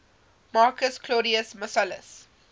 marcus claudius marcellus